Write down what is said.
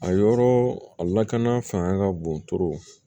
A yɔrɔ a lakana fanga ka bon